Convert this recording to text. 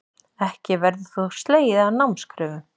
Ekki verður þó slegið af námskröfum